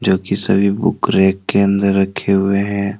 जोकि सभी book rack के अंदर रखे हुए हैं।